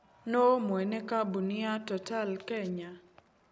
Nũũ mwene kambuni ya Total Kenya?